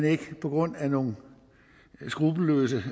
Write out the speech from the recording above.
ikke på grund af nogle skruppelløse